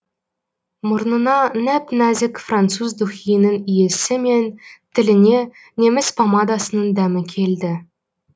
мұрнына нәп нәзік француз духиінің иісі мен тіліне неміс помадасының дәмі келді